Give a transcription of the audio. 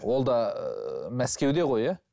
ол да ыыы мәскеуде ғой иә